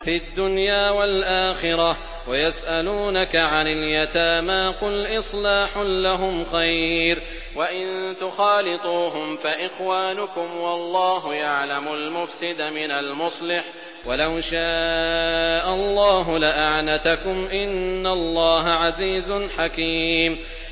فِي الدُّنْيَا وَالْآخِرَةِ ۗ وَيَسْأَلُونَكَ عَنِ الْيَتَامَىٰ ۖ قُلْ إِصْلَاحٌ لَّهُمْ خَيْرٌ ۖ وَإِن تُخَالِطُوهُمْ فَإِخْوَانُكُمْ ۚ وَاللَّهُ يَعْلَمُ الْمُفْسِدَ مِنَ الْمُصْلِحِ ۚ وَلَوْ شَاءَ اللَّهُ لَأَعْنَتَكُمْ ۚ إِنَّ اللَّهَ عَزِيزٌ حَكِيمٌ